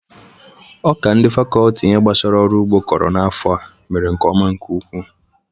Ọka ndị fakọlti ihe gbasara ọrụ ụgbọ kụrụ n'afọ a mere nke ọma nke ukwu.